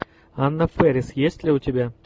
анна фэрис есть ли у тебя